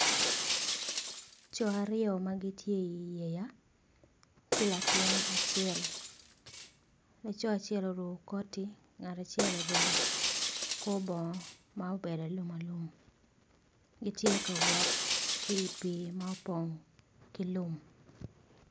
Coo aryo magitye iyea ki latin acel laco acel oruko koti ngat acel oruko kor bongo ma obedo alum alum gitye kawot kipi ma opong kilum.